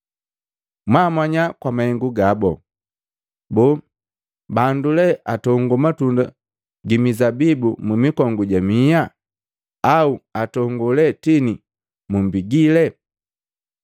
Mwaamanya kwa mahengu gabo. Boo bandu lee atongo matunda mizabibu mu mikongu ja miha, au atongo lee tini mumbigile?